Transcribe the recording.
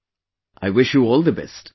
Okay, I wish you all the best